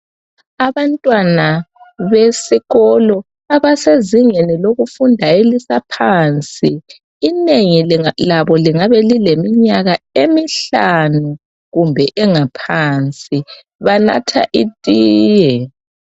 Abantwana besikolo abasezingeni lokufunda elisaphansi inengi labo lingaba lileminyaka emihlanu kumbe engaphansi banatha itiye